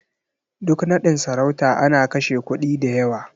Duk naɗin sarauta ana kashe kuɗi da yawa.